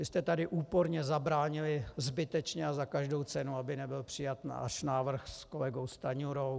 Vy jste tady úporně zabránili zbytečně a za každou cenu, aby nebyl přijat náš návrh s kolegou Stanjurou.